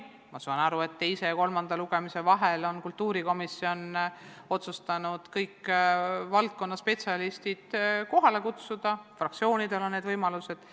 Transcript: Ma saan aru, et teise ja kolmanda lugemise vahel on kultuurikomisjon otsustanud kõik valdkonna spetsialistid kohale kutsuda, ka fraktsioonidel on need võimalused.